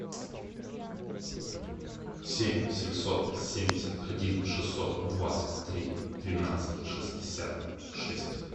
семь семьсот семьдесят один шестьсот двадцать три двенадцать шестьдесят шесть